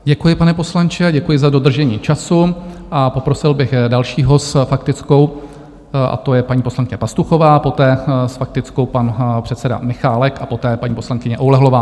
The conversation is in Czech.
Děkuji, pane poslanče, děkuji za dodržení času a poprosil bych dalšího s faktickou, a to je paní poslankyně Pastuchová, poté s faktickou pan předseda Michálek a poté paní poslankyně Oulehlová.